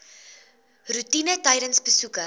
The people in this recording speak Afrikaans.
roetine tydens besoeke